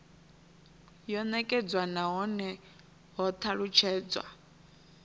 yo nekedzwa nahone ho talutshedzwa